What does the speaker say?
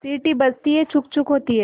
सीटी बजती है छुक् छुक् होती है